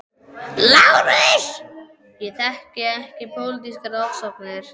LÁRUS: Ég þekki ekki pólitískar ofsóknir.